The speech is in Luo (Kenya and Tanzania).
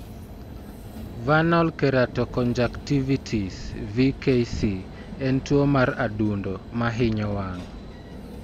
Vernal keratoconjunctivitis (VKC) en tuwo mar adundo, ma hinyo wang '.